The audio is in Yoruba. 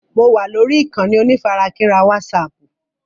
Mo wà lórí ìkànnì onífarakínra wásààpù.